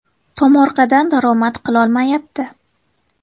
Tomorqadan daromad qilolmayapti.